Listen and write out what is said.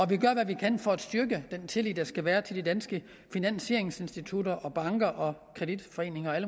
vi gør hvad vi kan for at styrke den tillid der skal være til de danske finansieringsinstitutter og banker kreditforeninger og